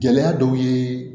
Gɛlɛya dɔw ye